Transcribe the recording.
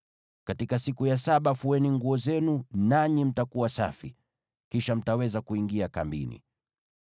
Katika siku ya saba fueni nguo zenu, nanyi mtakuwa safi. Kisha mtaweza kuingia kambini.”